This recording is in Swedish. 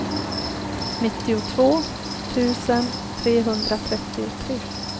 nittiotvå tusen trehundratrettiotre